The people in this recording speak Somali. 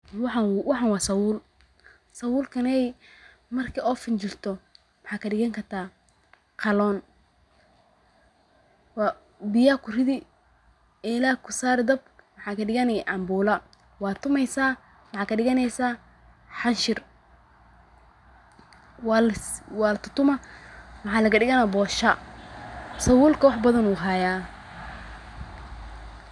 Waxan waa sabul, sabulkaney marki oo finjisho waxad kadhigan karta qalon biya kurudi, ela aa kusari dab maxa kadhigani cambula, waa tumeysa maxad kadhiganeyso xanshir, waa la tutuma maxa laga dhigana bosho, sabulka wax badan uu hayaa